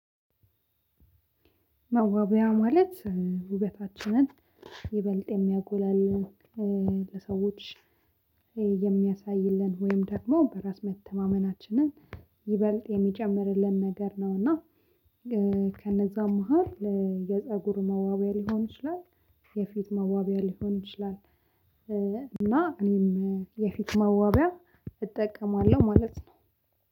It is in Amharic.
መዋቢያ ማለት ውበታችንን ይበልጥ የሚያጎላልን ለሰዎች የሚያሳይልን ወይም ደግሞ በራስ መተማመናችንን ይበልጥ የሚጨምርልን ነገር ነው። እና ከነዛው መሃል የፀጉር መዋቢያ ሊሆን ይችላል። የፊት መዋቢያ ሊሆን ይችላል። እና እኔም የፊት መዋቢያ እጠቀማለሁ ማለት ነው።